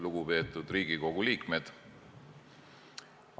Lugupeetud Riigikogu liikmed!